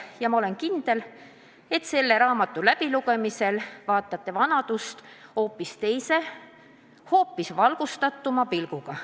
Ja ma olen kindel, et selle raamatu läbilugemisel vaatate vanadust hoopis teise, hoopis valgustatuma pilguga.